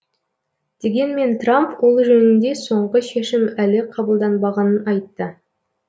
дегенмен трамп ол жөнінде соңғы шешім әлі қабылданбағанын айтты